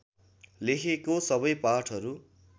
लेखेको सबै पाठहरू